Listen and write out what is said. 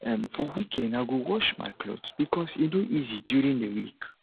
um for weekend i go wash my clothes because e no easy during the week